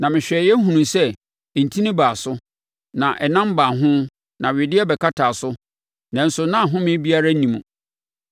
Na mehwɛeɛ hunuiɛ sɛ ntini baa so, na ɛnam baa ho na wedeɛ bɛkataa so, nanso na ahomeɛ biara nni mu.